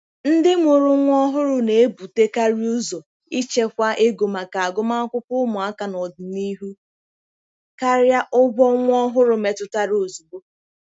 Ndị mụrụ nwa ọhụrụ na-ebutekarị ụzọ ichekwa ego maka agụmakwụkwọ ụmụaka n'ọdịnihu karịa ụgwọ nwa ọhụrụ metụtara ozugbo.